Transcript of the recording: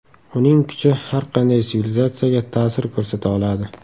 Uning kuchi har qanday sivilizatsiyaga ta’sir ko‘rsata oladi.